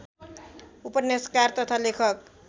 उपन्यासकार तथा लेखक